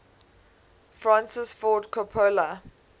francis ford coppola